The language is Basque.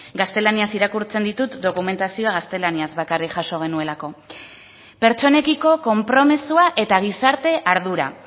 gaztelaniaz irakurtzen ditut dokumentazioa gaztelaniaz bakarrik jaso genuelako pertsonekiko konpromisoa eta gizarte ardura